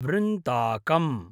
वृन्ताकम्